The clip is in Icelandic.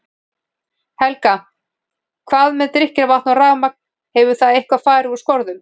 Helga: Hvað með drykkjarvatn og rafmagn, hefur það eitthvað fari úr skorðum?